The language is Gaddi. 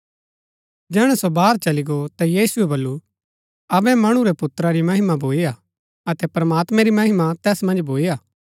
जैहणै सो बाहर चली गो ता यीशुऐ बल्लू अबै मणु रै पुत्रा री महिमा भूई हा अतै प्रमात्मैं री महिमा तैस मन्ज भूई हा